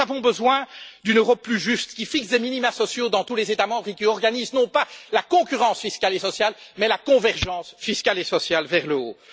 Nous avons besoin d'une Europe plus juste, qui fixe des minima sociaux dans tous les États membres et qui organise, non pas la concurrence fiscale et sociale, mais la convergence fiscale et sociale vers le haut.